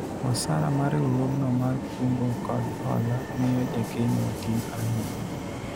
osara ma riwruogno mar kungo kod hola miyo jakeno tin ahinya